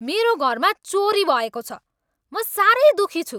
मेरो घरमा चोरी भएको छ। म साह्रै दुखी छु।